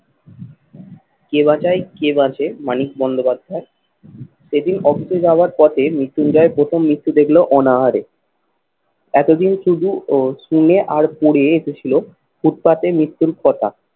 কে বাচায় কে বাচে মানিক বন্দ্যোপাধ্যায়? সেদিন অফিসে যাওয়ার পথে মৃত্যুঞ্জয় প্রথম মৃত্যু দেখলো অনাহারে। এতদিন শুধু ও শুনে আর পড়ে এসেছিল ফুটপাতে মৃত্যুর কথা।